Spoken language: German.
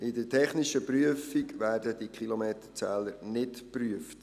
In der technischen Prüfung werden die Kilometerzähler nicht geprüft.